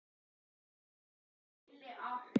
Hvað ertu að gera!